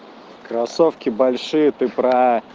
кроссовки большие ты про